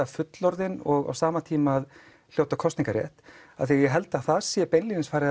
fullorðinn og á sama tíma að hljóta kosningarétt af því að ég held að það sé beinlínis